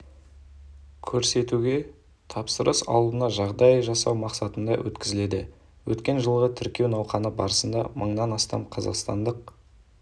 көрсетуге тапсырыс алуына жағдай жасау мақсатында өткізіледі өткен жылғы тіркеу науқаны барысында мыңнан астам қазақстандық